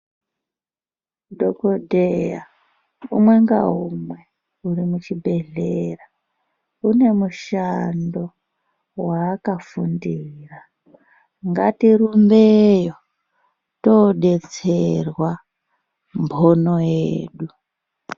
Dhokodheya umwe ngaumwe uri muchibhedhlera une mushando waakafundira ngatirumbeyo todetserwa mbono yedu